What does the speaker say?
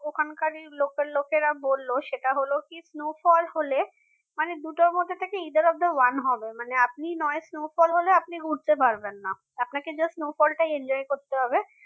ওখানকারই local লোকেরা বলল সেটা হল কি snowfall হলে মানে দুটোর মধ্যে থেকে either of the one হবে মানে আপনি নয় snowfall হলে আপনি ঘুরতে পারবেন না আপনাকে just snowfall টাই enjoy করতে হবে